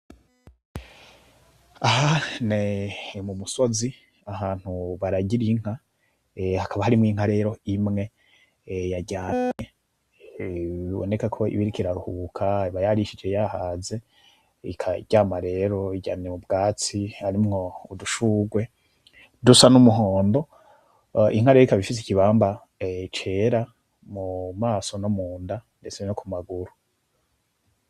Aha ni kumusozi ahantu baragira inka, hakaba hari inka imwe yaryamye biboneka ko iriko iraruhuka iba yarishije yahaze. Iryamye mu bwatsi harimwo udushurwe dusa n’umuhondo. Inka rero ikaba ifise ikibamba cera mumaso, no munda ndetse no kumaguru.